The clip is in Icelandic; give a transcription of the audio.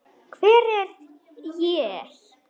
Hvar er ég?